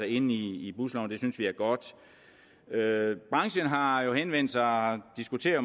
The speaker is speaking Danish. inde i busloven det synes vi er godt branchen har jo henvendt sig og diskuterer